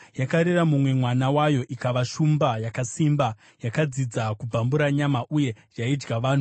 Yakarera mumwe mwana wayo, ikava shumba yakasimba. Yakadzidza kubvambura nyama, uye yaidya vanhu.